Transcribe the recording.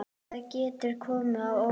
Það getur komið á óvart.